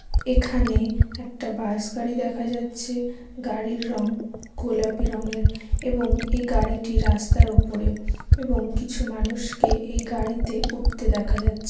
এখানে একটা বাস গাড়ি দেখা যাচ্ছে গাড়ির রং গোলাপি রঙের এবং এই গাড়িটি রাস্তার উপর | এবং কিছু মানুষকে এই গাড়িতে উঠতে দেখা যাচ্ছে।